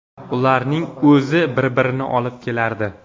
Ularning o‘zi bir-birini olib kelardi.